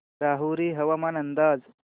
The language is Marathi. राहुरी हवामान अंदाज